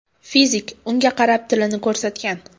Fizik unga qarab, tilini ko‘rsatgan.